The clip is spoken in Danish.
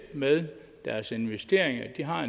med deres investeringer atp har